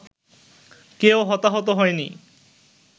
কেউ হতাহত হয়নি